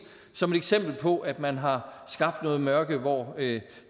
som et eksempel på at man har skabt noget mørke hvor